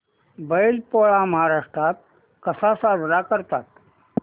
बैल पोळा महाराष्ट्रात कसा साजरा करतात